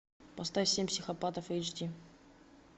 поставь семь психопатов эйч ди